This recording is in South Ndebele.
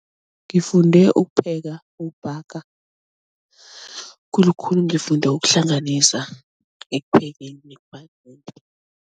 Ngifunde ukupheka, ukubhaga khulukhulu ngifunde ukuhlanganisa ekuphekeni